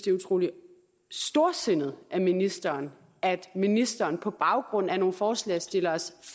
er utrolig storsindet af ministeren at ministeren på baggrund af nogle forslagsstilleres